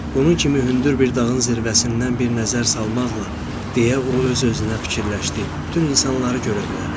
Bunun kimi hündür bir dağın zirvəsindən bir nəzər salmaqla, deyə o öz-özünə fikirləşdi, bütün insanları görə bilərəm.